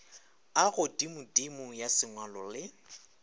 a godimodimo ya sengwalo le